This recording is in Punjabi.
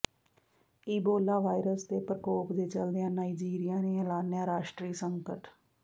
ਈਬੋਲਾ ਵਾਈਰਸ ਦੇ ਪ੍ਰਕੋਪ ਦੇ ਚੱਲਦਿਆਂ ਨਾਈਜੀਰੀਆ ਨੇ ਐਲਾਨਿਆ ਰਾਸ਼ਟਰੀ ਸੰਕਟ